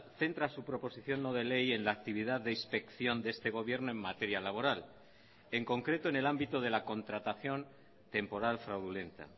centra su proposición no de ley en la actividad de inspección de este gobierno en materia laboral en concreto en el ámbito de la contratación temporal fraudulenta